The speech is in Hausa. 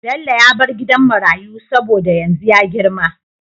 Bello ya bar gidan marayu saboda yanzu ya girma